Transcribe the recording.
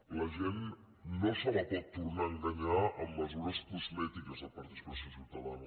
a la gent no se la pot tornar a enganyar amb mesures cosmètiques de participació ciutadana